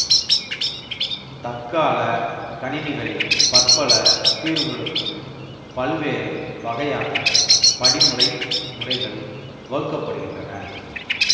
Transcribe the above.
தற்கால கணினிகளில் பற்பல தீர்வுகளுக்கும் பல்வேறு வகையான படிமுறைத் முறைகள் வகுக்க படுகின்றன